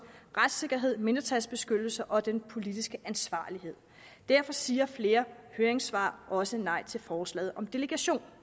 retssikkerhed mindretalsbeskyttelse og den politiske ansvarlighed derfor siger flere høringssvar også nej til forslaget om delegation